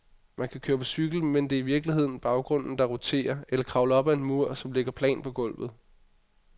Man kan køre på cykel, mens det i virkeligheden er baggrunden, der roterer, eller kravle op ad en mur, som ligger plant på gulvet.